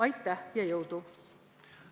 Aitäh ja jõudu!